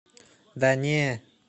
да не